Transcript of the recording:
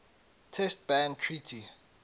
test ban treaty